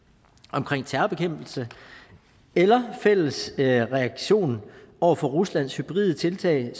omkring terrorbekæmpelse eller en fælles reaktion over for ruslands hybride tiltag